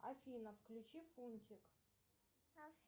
афина включи фунтик